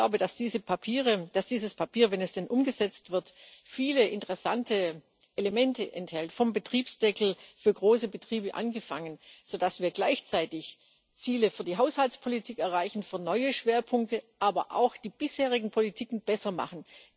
Ich glaube, dass dieses Papier, wenn es denn umgesetzt wird, viele interessante Elemente enthält, vom Betriebsdeckel für große Betriebe angefangen, sodass wir gleichzeitig Ziele für die Haushaltspolitik erreichen für neue Schwerpunkte, aber auch die bisherigen Politiken besser machen.